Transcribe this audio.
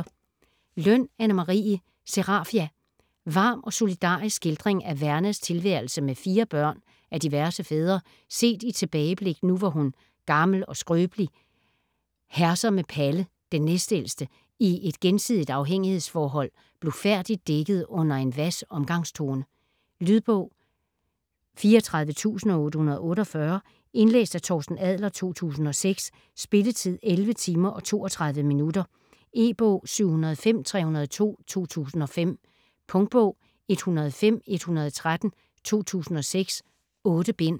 Løn, Anne Marie: Serafia Varm og solidarisk skildring af Vernas tilværelse med fire børn af diverse fædre, set i tilbageblik nu hvor hun, gammel og skrøbelig, herser med Palle, den næstældste, i et gensidigt afhængighedsforhold, blufærdigt dækket under en hvas omgangstone. Lydbog 34848 Indlæst af Torsten Adler, 2006. Spilletid: 11 timer, 32 minutter. E-bog 705302 2005. Punktbog 105113 2006. 8 bind.